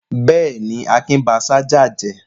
Bẹ́ẹ̀ ni, Akin ba ṣájà jẹ́.